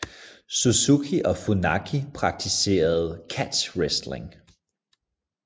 Suzuki og Funaki praktiserede catch wrestling